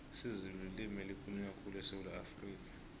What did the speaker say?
isizulu lilimu elikhulunywa khulu esewula afrikha